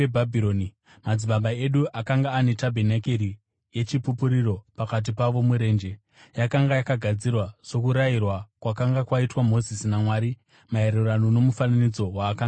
“Madzitateguru edu akanga ane tabhenakeri yeChipupuriro pakati pavo murenje. Yakanga yakagadzirwa sokurayirwa kwakanga kwaitwa Mozisi naMwari, maererano nomufananidzo waakanga aona.